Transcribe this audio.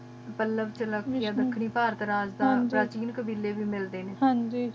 ਪਾਲਾਬ ਸ਼ਾਲਾਬ ਯਾ ਨੁਕਰੀ ਪਰ ਤਰਜ਼ ਦਾ ਜੇਰੇ ਕੀਲ ਕਾਬਿਲੇ ਵੀ ਮਿਲਦੇ ਨਾ